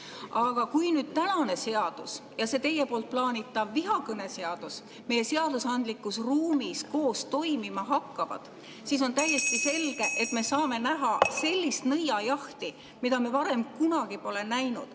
Aga kui tänane seadus ja teie plaanitav vihakõneseadus meie seadusandlikus ruumis koos toimima hakkavad, siis on täiesti selge, et me saame näha sellist nõiajahti, mida me varem kunagi pole näinud.